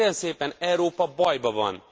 Hát kérem szépen, Európa bajban van!